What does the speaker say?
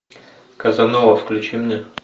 казанова включи мне